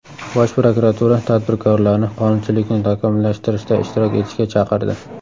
Bosh prokuratura tadbirkorlarni qonunchilikni takomillashtirishda ishtirok etishga chaqirdi.